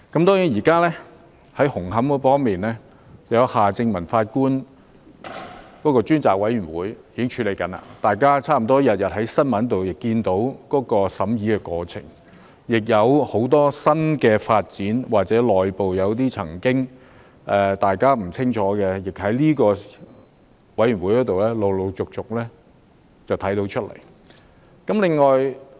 當然，現時就紅磡站的問題，有夏正民法官擔任主席的調查委員會正在處理，大家差不多每天在新聞報道也看到審查的過程，而很多新的發展或大家以前不清楚的內部問題，亦由調查委員會陸續披露出來。